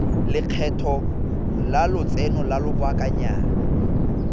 lekgetho la lotseno lwa lobakanyana